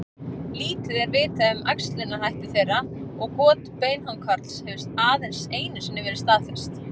Lítið er vitað um æxlunarhætti þeirra og got beinhákarls hefur aðeins einu sinni verið staðfest.